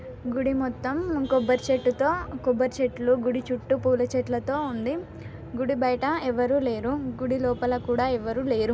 గుడి మొత్తం కొబ్బరి చెట్టు తో కొబ్బరి చెట్లు గుడి చుట్టూ పూల చెట్లతో ఉంది గుడి బయట ఎవరు లేరు గుడి లోపల కూడా ఎవరు లేరు.